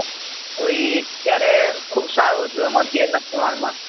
હવે એ અત્યારે ખુબ સારુ હતું આમ અત્યાર ના પ્રમાણ માં